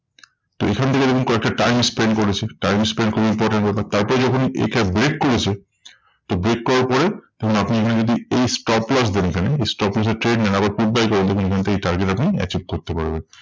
তো এখন থেকে দেখুন কয়েকটা time spend করেছে। time spend করার পরে তারপর যখন একে break করেছে, তো break করার পরে তখন আপনি এখানে যদি এই stop loss দেন এখানে, এই stop loss এ trade নেন আবার put buy করেন দেখুন এখানে থেকে target আপনি achieve করতে পারবেন।